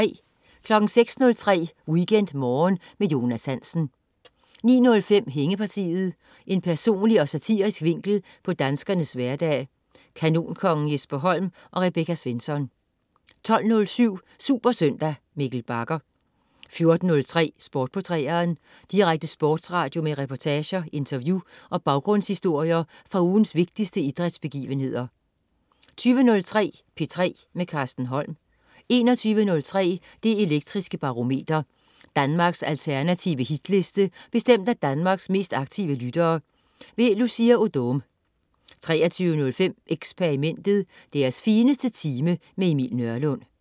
06.03 WeekendMorgen med Jonas Hansen 09.05 Hængepartiet. En personlig og satirisk vinkel på danskernes hverdag. Kanonkongen Jesper Holm og Rebecca Svensson 12.07 SuperSøndag. Mikkel Bagger 14.03 Sport på 3'eren. Direkte sportsradio med reportager, interview og baggrundshistorier fra ugens vigtigste idrætsbegivenheder 20.03 P3 med Carsten Holm 21.03 Det Elektriske Barometer. Danmarks alternative hitliste bestemt af Danmarks mest aktive lyttere. Lucia Odoom 23.05 Xperimentet. Deres fineste time. Emil Nørlund